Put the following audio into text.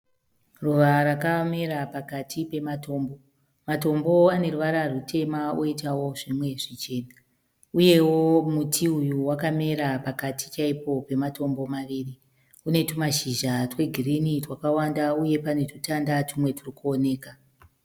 Ruva rakamira pakati pematombo. Matombo aneruvara rutema uitawo zvimwe zvichema. Uyewo muti uyu wakamira pakati chaipo pematombo maviri. Unetumashizha twegirinhi twakawanda uye pane tutanda tumwe turikuoneka.